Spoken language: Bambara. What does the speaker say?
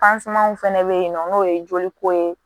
fɛnɛ bɛ yen nɔ n'o ye joliko ye